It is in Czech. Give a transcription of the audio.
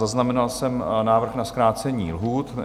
Zaznamenal jsem návrh na zkrácení lhůt.